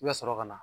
I bɛ sɔrɔ ka na